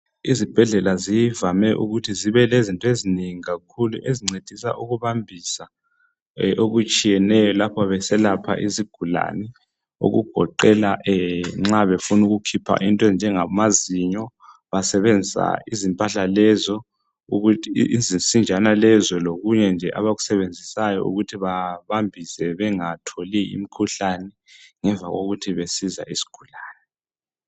Izibhedlela zivame ukuthi zibe lezinto ezinengi kakhulu ezincedisa ukubambisa okutshiyeneyo lapho beselapha izigulane okugoqela nxa befuna ukukhipha into ezinjengama zinyo basebenzisa izimpahla lezo ukuthi izinsinjana lezo lokunye nje abakusebenzisayo ukuthi babambise bengatholi imkhuhlane ngemva lokuthi besiza isigulane